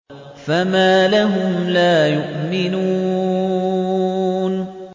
فَمَا لَهُمْ لَا يُؤْمِنُونَ